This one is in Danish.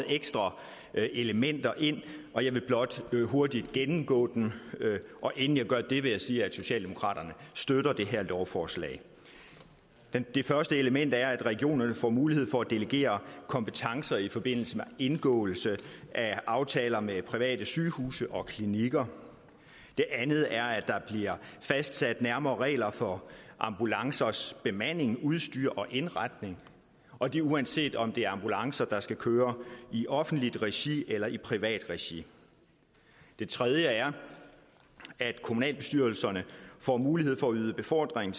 ekstra elementer ind og jeg vil blot hurtigt gennemgå dem inden jeg gør det vil jeg sige at socialdemokraterne støtter det her lovforslag det første element er at regionerne får mulighed for at delegere kompetencer i forbindelse med indgåelse af aftaler med private sygehuse og klinikker det andet er at der bliver fastsat nærmere regler for ambulancers bemanding udstyr og indretning og det er uanset om det er ambulancer der skal køre i offentligt regi eller i privat regi det tredje er at kommunalbestyrelserne får mulighed for at yde befordring